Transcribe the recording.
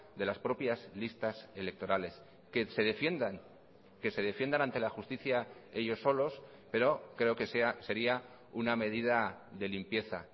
de las propias listas electorales que se defiendan que se defiendan ante la justicia ellos solos pero creo que sería una medida de limpieza